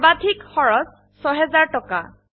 সৰ্বাধিক খৰচ ৬০০০ টকা